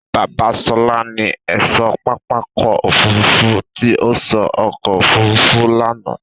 Bábà Ṣọlá ni ẹ̀ṣọ́ pápákọ̀ òfurufú tí ó sọ ọkọ̀ òfurufú lánàá.